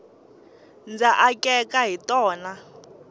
ndza akeka hi tona